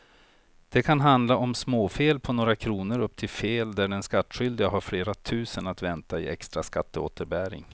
Det kan handla om småfel på några kronor upp till fel där den skattskyldige har flera tusen att vänta i extra skatteåterbäring.